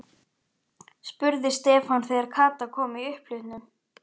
spurði Stefán þegar Kata kom í upphlutnum.